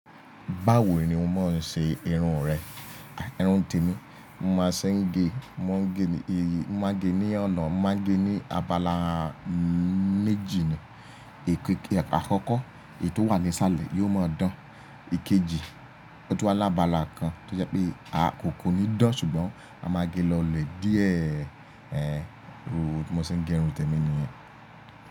Báwo ni o mo máa ń ṣe irun rẹ? Irun tèmi, mo máa ṣe ge, mo máa ge ní ọ̀nà, mo máa ge ní abala méjì ni. E Èké àkọ́kọ́ èyí tó wà ní sàlẹ̀ yóò máa dán. Èkéjì, ó tún wà lábaala kan tí ó jẹ́ pé a kò kò ní dán ṣùgbọ́n a máa gé e lọ lè díẹ̀ ẹ, mo ṣe ń gé irun tèmi nìyẹn.